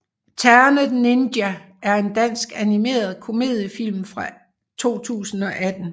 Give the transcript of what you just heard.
Ternet Ninja er en dansk animeret komediefilm fra 2018